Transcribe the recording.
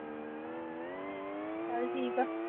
ਚੱਲ ਠੀਕ ਆ